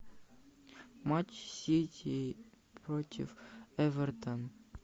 матч сити против эвертон